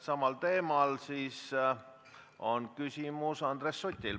Samal teemal on küsimus Andres Sutil.